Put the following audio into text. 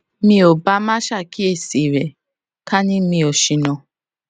mi ò bá má ṣàkíyèsí rè ká ní mi ò ṣìnà